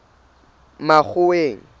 makgoweng